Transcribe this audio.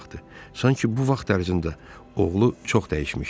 Sanki bu vaxt ərzində oğlu çox dəyişmişdi.